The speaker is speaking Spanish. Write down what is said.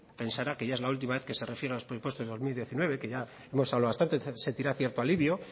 pensará que ya es la última vez que se refiere a los presupuestos del dos mil diecinueve que ya hemos hablado bastante sentirá cierto alivio